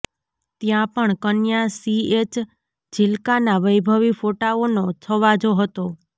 ત્યાં પણ કન્યા સીએચ ઝિલ્કાના વૈભવી ફોટાઓનો છવાજો હતો